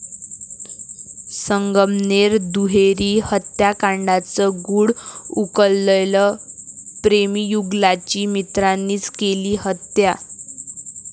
संगमनेर दुहेरी हत्याकांडाचं गूढ उकललं, प्रेमीयुगुलाची मित्रांनीच केली हत्या